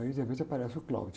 Aí de repente aparece o.